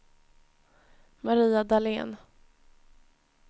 Maria Dahlén